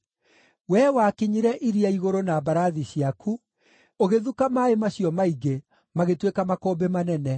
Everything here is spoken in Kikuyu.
Wee wakinyire iria igũrũ na mbarathi ciaku, ũgĩthuka maaĩ macio maingĩ, magĩtuĩka makũmbĩ manene.